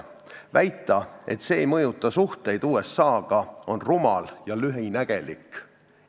Väita, et see ei mõjuta suhteid USA-ga, on rumal ja lühinägelik.